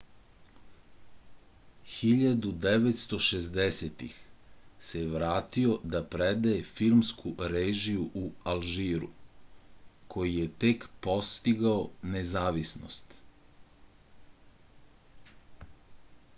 1960-ih se vratio da predaje filmsku režiju u alžiru koji je tek postigao nezavisnost